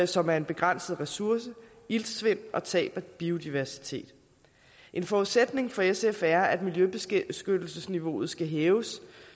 som er en begrænset ressource iltsvind og tab af biodiversitet en forudsætning for sf er at miljøbeskyttelsesniveauet skal hæves